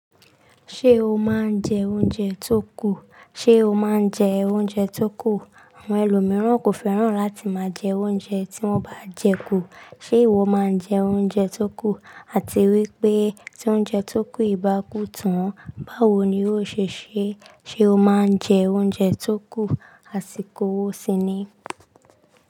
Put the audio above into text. Ṣé o máa ń jẹ oúnjẹ tó kù? Ṣé o máa ń jẹ oúnjẹ tó kù? Àwọn ẹlòmíràn kò fẹ́ràn láti máa jẹ oúnjẹ tí wọ́n bá jẹ kú. Ṣé ìwọ máa ń jẹ oúnjẹ tó kù? Àti wípé tí oúnjẹ tó kù yii bá kú tán, báwo ni ó ṣe ṣe? Ṣé o máa ń jẹ oúnjẹ tó kù? Àsìkò wo síní?